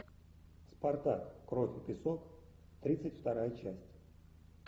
спартак кровь и песок тридцать вторая часть